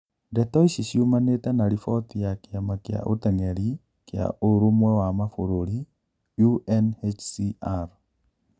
Ndeto ici ciumanite na riboti ya kiama kia ateng'eri kia Urũmwe wa Mabururi UNHCR